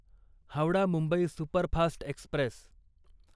Howrah Mumbai superfast Express